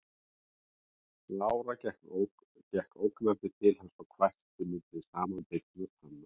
Lára gekk ógnandi til hans og hvæsti milli samanbitinna tanna